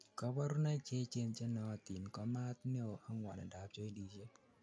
kaborunoik Cheechen chenootin ko maat neo ak ngwonindap jointisiek